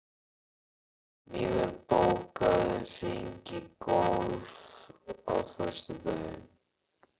Mímir, bókaðu hring í golf á föstudaginn.